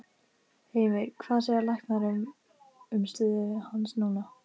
Heimir: Hvað segja læknar um stöðu hans núna?